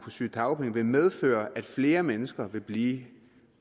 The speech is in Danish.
sygedagpenge vil medføre at flere mennesker vil blive